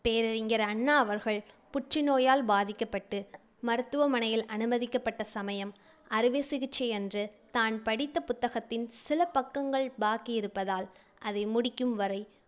பேரறிஞர் அண்ணா அவர்கள் புற்று நோயால் பாதிக்கப்பட்டு மருத்துவமனையில் அனுமதிக்கப்பட்ட சமயம் அறுவைச் சிகிச்சை அன்று தான் படித்த புத்தகத்தின் சில பக்கங்கள் பாக்கி இருப்பதால் அதை முடிக்கும் வரை